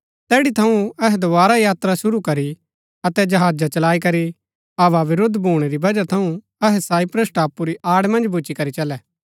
तैड़ी थऊँ अहै दोवारा यात्रा शुरू करी अतै जहाजा चलाई करी हवा विरूद्ध भूणै री वजह थऊँ अहै साइप्रस टापू री आड़ मन्ज भूच्ची करी चलै